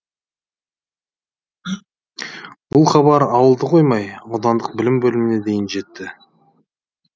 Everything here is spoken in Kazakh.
бұл хабар ауылды қоймай аудандық білім бөліміне дейін жетті